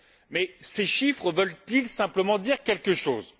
Mais ces chiffres veulent ils simplement dire quelque chose?